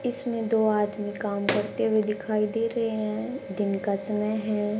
इसमें दो आदमी काम करते हुए दिखाई दे रहे हैं दिन का समय है।